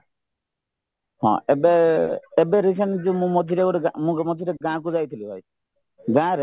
ହଁ ଏବେ ଏବେ recent ଯୋଉ ମୁଁ ମଝିରେ ଯୋଉ ଗାଁ ମୁଁ ମଝିରେ ଗାଁକୁ ଯାଇଥିଲିହେରି ଗାଁରେ